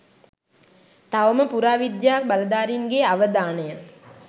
තවම පුරාවිද්‍යා බලධාරීන්ගේ අවධානය